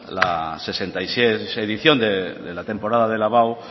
la sesenta y seis edición de la temporada de la abao